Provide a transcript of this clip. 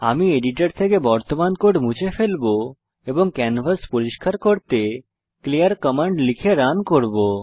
আমি এডিটর থেকে বর্তমান কোড মুছে ফেলবো এবং ক্যানভাস পরিস্কার করতে ক্লিয়ার কমান্ড লিখে রান করব